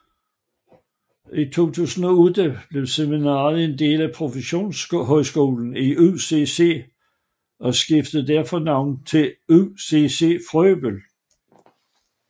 I 2008 blev seminariet en del af Professionshøjskolen UCC og skiftede derfor navn til UCC Frøbel